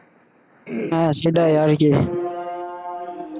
হ্যাঁ, সেটাই আর কি।